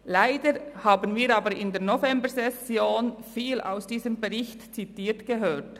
Leider haben wir aber in der Novembersession viel aus diesem Bericht zitiert gehört.